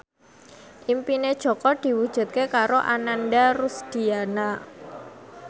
impine Jaka diwujudke karo Ananda Rusdiana